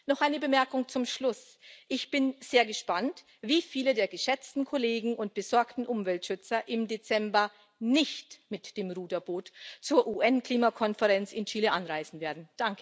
Noch eine Bemerkung zum Schluss Ich bin sehr gespannt, wie viele der geschätzten Kollegen und besorgten Umweltschützer im Dezember nicht mit dem Ruderboot zur UN Klimakonferenz in Chile anreisen werden.